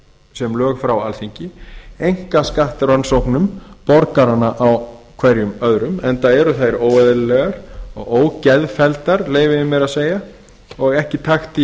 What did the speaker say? sem lög frá alþingi einkaskattrannsóknum borgaranna á hverjum öðrum enda eru þær óeðlilegar og ógeðfelldar leyfi ég mér að segja og ekki í